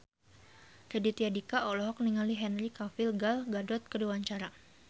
Raditya Dika olohok ningali Henry Cavill Gal Gadot keur diwawancara